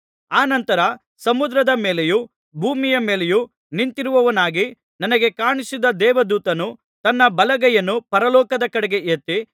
ಅನಂತರ ಸಮುದ್ರದ ಮೇಲೆಯೂ ಭೂಮಿಯ ಮೇಲೆಯೂ ನಿಂತಿರುವವನಾಗಿ ನನಗೆ ಕಾಣಿಸಿದ ದೇವದೂತನು ತನ್ನ ಬಲಗೈಯನ್ನು ಪರಲೋಕದ ಕಡೆಗೆ ಎತ್ತಿ